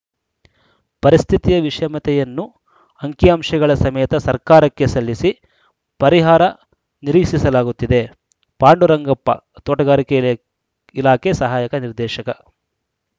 ಪರಿಸ್ಥಿತಿಯ ವಿಷಮತೆಯನ್ನು ಅಂಕಿ ಅಂಶಗಳ ಸಮೇತ ಸರ್ಕಾರಕ್ಕೆ ಸಲ್ಲಿಸಿ ಪರಿಹಾರ ನಿರೀಕ್ಷಿಸಲಾಗುತ್ತಿದೆ ಪಾಂಡುರಂಗಪ್ಪ ತೋಟಗಾರಿಕೆ ಇಲಾಖೆ ಸಹಾಯಕ ನಿರ್ದೇಶಕ